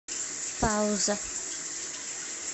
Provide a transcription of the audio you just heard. пауза